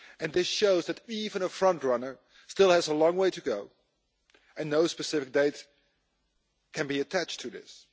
This shows that even a frontrunner still has a long way to go, and no specific dates can be attached to this.